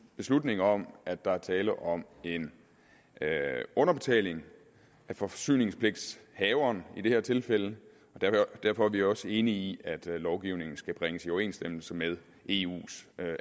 beslutning om at der er tale om en underbetaling af forsyningspligthaveren i det her tilfælde og derfor er vi også enige i at lovgivningen skal bringes i overensstemmelse med eus